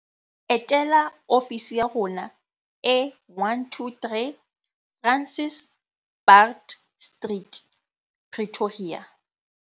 Etela ofisi ya rona e 123 Francis Baard Street, Pretoria.